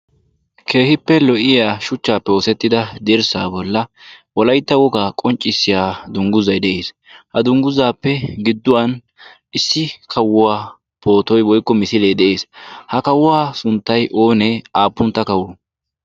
keehippe lo'iya shuchchaappe oosettida derssa bolla wolaytta wogaa qonccissiya dungguzay de'ees. ha dungguzaappe gidduwan issi kawuwaa pootoy woykko misilee de'ees. ha kawuwaa sunttay oonee aappuntta kawo.